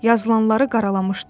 Yazılanları qaralamışdı.